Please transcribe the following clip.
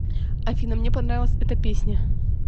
афина мне понравилась эта песня